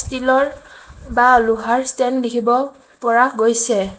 Still ৰ বা লোহাৰ ষ্টেণ্ড দেখিব পৰা গৈছে।